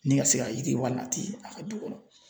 Ni ka se ka yiriwa nati la ka du kɔnɔ